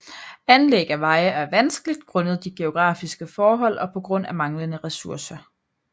Anlæg af veje er vanskeligt grundet de geografiske forhold og på grund af manglende ressourcer